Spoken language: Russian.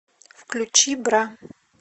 включи бра